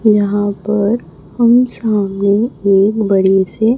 यहां पर हम सामने एक बड़ी से--